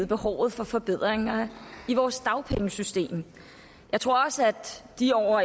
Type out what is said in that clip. behovet for forbedringer i vores dagpengesystem jeg tror også at de